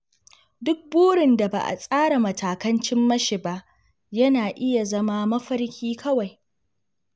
Duk burin da ba a tsara matakan cimma shi ba, yana iya zama mafarki kawai.